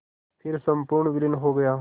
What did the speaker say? फिर संपूर्ण विलीन हो गया